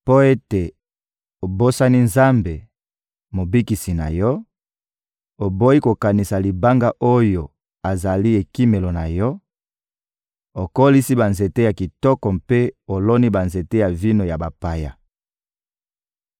Mpo ete obosani Nzambe, Mobikisi na yo, oboyi kokanisa Libanga oyo azali Ekimelo na yo, okolisi banzete ya kitoko mpe oloni banzete ya vino ya bapaya.